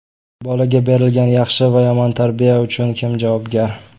Bolaga berilgan yaxshi va yomon tarbiya uchun kim javobgar?